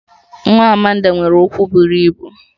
Nwa Amanda nwere ụkwụ buru ibu